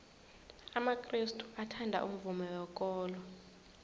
amakrestu athanda umvumo wekolo